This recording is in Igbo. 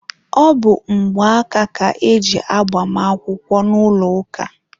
Ọ bụ mgbaaka ka e ji agbamakwụkwọ n'ụlọ ụka.